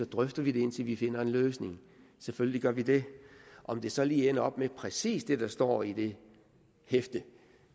drøfter vi det indtil vi finder en løsning selvfølgelig gør vi det om det så lige ender op med præcis det der står i det hæfte